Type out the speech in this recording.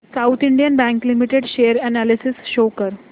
south Indian Bank Limited share analysis show कर